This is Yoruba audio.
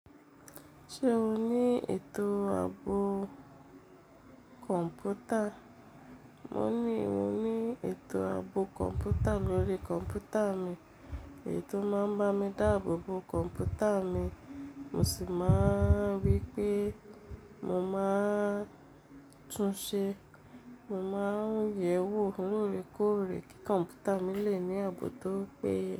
Ṣé o ní ètò ààbò kọ̀mpútà? Mo ní mo ní ètò ààbò kọ̀ǹpútà lórí kọ̀mpútà mi. Èyii tò máa ń bá mi dáàbòbo kọ̀mpútà mi, mo sì máa ń ri pé mo máa tún ṣe. Mo máa ń yẹ̀ẹ́ wò, loore koore kí kọ̀mpútà mi lè ní ààbò tó péye.